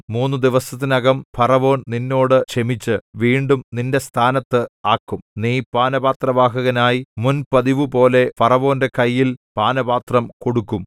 മൂന്നു ദിവസത്തിനകം ഫറവോൻ നിന്നോട് ക്ഷമിച്ച് വീണ്ടും നിന്റെ സ്ഥാനത്ത് ആക്കും നീ പാനപാത്രവാഹകനായി മുൻ പതിവുപോലെ ഫറവോന്റെ കയ്യിൽ പാനപാത്രം കൊടുക്കും